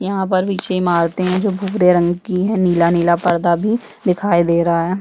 यहाँ पर पीछे इमारते है जो भूरे रंग की है नीला - नीला परदा भी दिखाई दे रहा है।